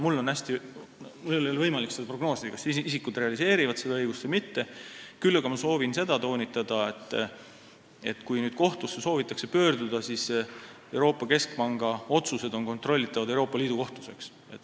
Mul ei ole võimalik seda prognoosida, kas isikud realiseerivad seda õigust või mitte, küll aga ma soovin toonitada, et kui soovitakse pöörduda kohtusse, siis Euroopa Keskpanga otsused on kontrollitavad Euroopa Liidu Kohtus.